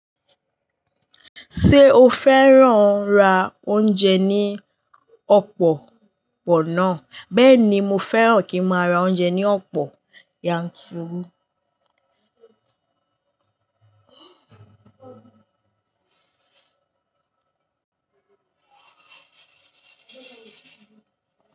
Ṣé o fẹ́ràn ra oúnjẹ ní ọ̀pọ̀ po maa? Bẹ́ẹ̀ni mo fẹ́ràn kí máa ra oúnjẹ ní ọ̀pọ̀ yanturu.